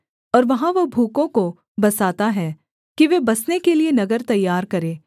और वहाँ वह भूखों को बसाता है कि वे बसने के लिये नगर तैयार करें